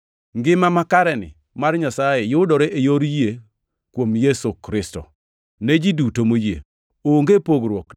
Ngima makareni mar Nyasaye, yudore e yor yie kuom Yesu Kristo ne ji duto moyie. Onge pogruok;